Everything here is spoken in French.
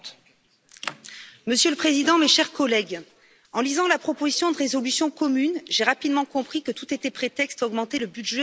Monsieur le Président, mes chers collègues, en lisant la proposition de résolution commune, j'ai rapidement compris que tout était prétexte à augmenter le budget de l'Union européenne.